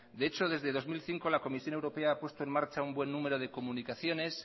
de hecho desde el dos mil cinco la comisión europea a puesto en marcha un buen número de comunicaciones